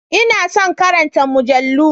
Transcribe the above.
Ina son karanta mujallu